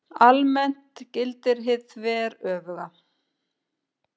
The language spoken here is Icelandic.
Almennt gildir hið þveröfuga.